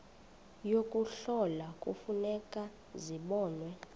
yokuhlola kufuneka zibonwe